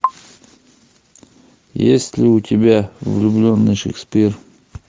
есть ли у тебя влюбленный шекспир